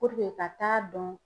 ka t'a dɔn